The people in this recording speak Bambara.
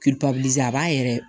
a b'a yɛrɛ